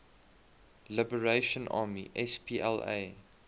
liberation army spla